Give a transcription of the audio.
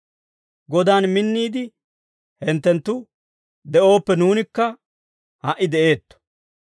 Godan minniide hinttenttu de'ooppe, nuunikka ha"i de'eetto.